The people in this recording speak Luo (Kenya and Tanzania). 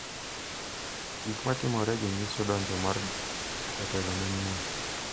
Gik ma timoregi nyiso donjo mar jatelo manyien.